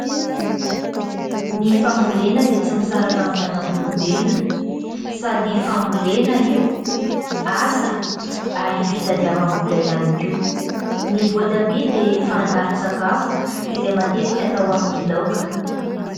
Ny fambolena dia tsy misaraka amin'ny zanak'olombelona ; sady fambolena io, asa ary fitadiavam-bola ihany koa. Ny voatabia dia fangaron-tsakafo izay matetika atao amin'ny laoka.